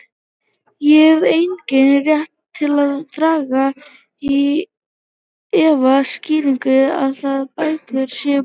Ég hef engan rétt til að draga í efa skýringarnar á að bækur séu bannaðar.